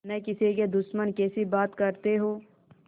न किसी के दुश्मन कैसी बात कहते हो